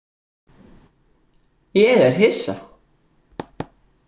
Ég er hissa.